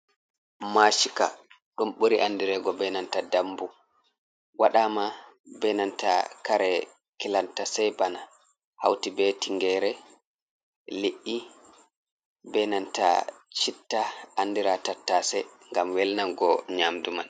Mashika ɗum ɓuri Andirego be nanta Dambu. waɗama be nanta kare Kilanta Sei bana. hauti be Tingere, lidɗi be nanta Chitta andira tattasei ngam welnango Nyamdu man.